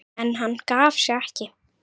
En hann gaf sig ekki.